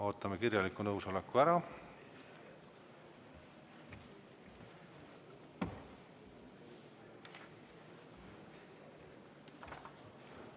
Ootame kirjaliku nõusoleku ära.